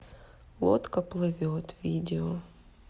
лодка плывет видео